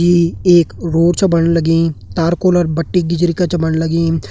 यी एक रोड छ बणन लगीं तारकोल बट्टी गिरजी क बणन लगीं।